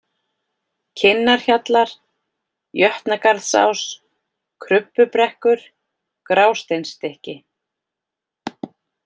Kinnarhjallar, Jötnagarðsás, Krubbubrekkur, Grásteinsstykki